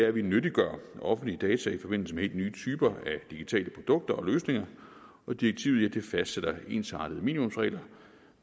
at vi nyttiggør offentlige data i forbindelse med helt nye typer af digitale produkter og løsninger og direktivet fastsætter ensartede minimumsregler